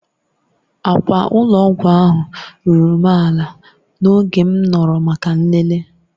Akwa ụlọ ọgwụ ahụ ruru m ala n'oge m nọrọ maka nlele.